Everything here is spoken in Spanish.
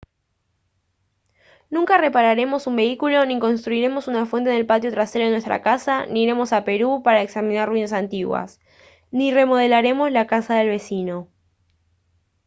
nunca repararemos un vehículo ni construiremos una fuente en el patio trasero de nuestra casa ni iremos a perú para examinar ruinas antiguas ni remodelaremos la casa del vecino